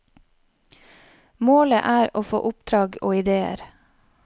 Målet er å få oppdrag og idéer.